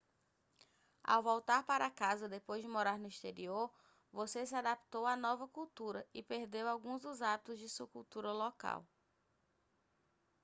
ao voltar para casa depois de morar no exterior você se adaptou à nova cultura e perdeu alguns dos hábitos de sua cultura local